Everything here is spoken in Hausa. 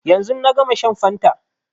Yanzu na gama shan fanta